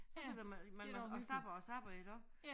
Så sidder man man og zapper og zapper iggå